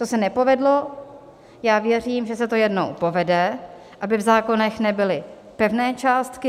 To se nepovedlo, já věřím, že se to jednou povede, aby v zákonech nebyly pevné částky.